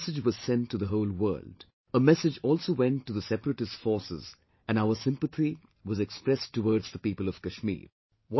A massage was sent to the whole world, a massage also went to the separatist forces and our sympathy was expressed towards the people of Kashmir